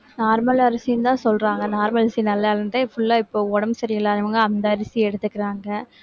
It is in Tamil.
normal அரிசின்னுதான் சொல்றாங்க normal அரிசி நல்லா full ஆ இப்போ உடம்பு சரியில்லாதவங்க அந்த அரிசி எடுத்துக்குறாங்க.